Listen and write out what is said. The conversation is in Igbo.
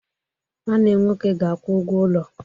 Nwanne nwoke ga-akwụ ụgwọ ụlọ.